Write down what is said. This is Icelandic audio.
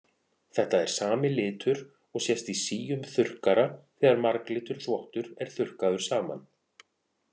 Þetta er sami litur og sést í síum þurrkara þegar marglitur þvottur er þurrkaður saman.